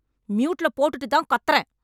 ம்யூட்ல போட்டுட்டுதான் கத்தறேன்...